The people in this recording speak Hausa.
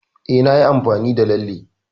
E, nayi amfani da Lalle.